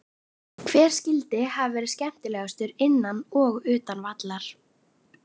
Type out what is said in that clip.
Hver skyldi hafa verði skemmtilegastur innan og utan vallar?